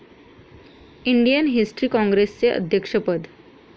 Indian history काँग्रेसचे अध्यक्षपद